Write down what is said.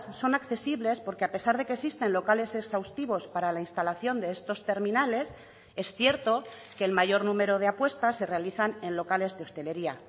son accesibles porque a pesar de que existen locales exhaustivos para la instalación de estos terminales es cierto que el mayor número de apuestas se realizan en locales de hostelería